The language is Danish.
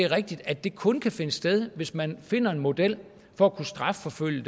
rigtigt at det kun kan finde sted hvis man finder en model for at kunne strafforfølge